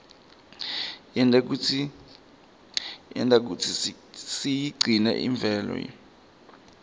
yenta kutsi siyigcine imvelo